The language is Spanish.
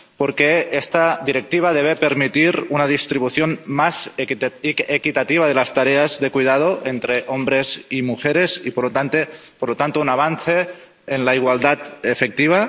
Porque esta Directiva debe permitir una distribución más equitativa de las tareas de cuidados entre hombres y mujeres y, por lo tanto, un avance en la igualdad efectiva.